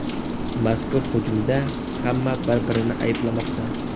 Mazkur hujumda hamma bir-birini ayblamoqda.